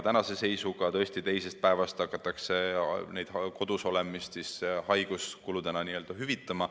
Tänase seisuga hakatakse tõesti teisest päevast alates kodusolemist haiguskuludena hüvitama.